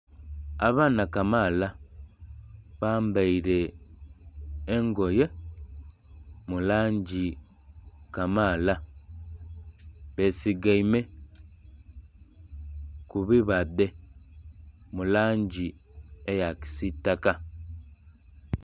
Abaana kamaala bambaire engoye mu langi kamaala besigaime kubibadhe mu langi eya kisitaka.